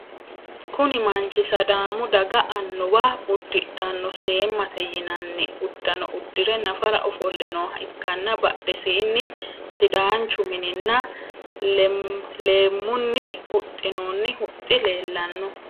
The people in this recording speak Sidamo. Kunni manchi sadaamu daga annuwa udidhano seemate yinnanni udano udire nafara ofole nooha ikanna badhesiinni sidaanchu minninna leemunni huxinoonni huxi leelano.